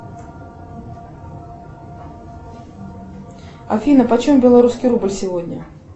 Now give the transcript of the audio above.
афина по чем белорусский рубль сегодня